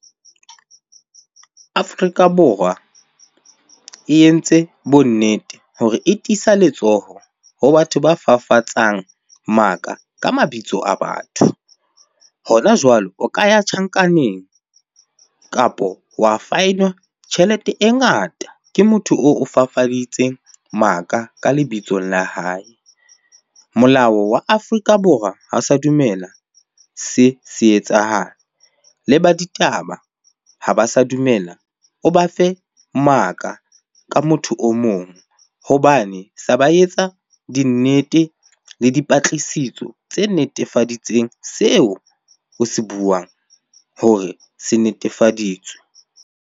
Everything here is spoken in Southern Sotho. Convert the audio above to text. Afrika Borwa e entse bonnete hore e tiisa letsoho ho batho ba fafatsang maka ka mabitso a batho. Hona jwalo o ka ya tjhankaneng kapo wa fine-wa tjhelete e ngata ke motho oo o fafaditsweng maka ka lebitsong la hae. Molao wa Afrika Borwa ha o sa dumela se se etsahale. Le ba ditaba ha ba sa dumela o ba fe maka ka motho o mong hobane se ba etsa di nnete le dipatlisiso tse netefaditsengseo o se buang hore se netefaditswe.